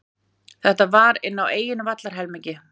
Þetta var inn á eigin vallarhelmingi.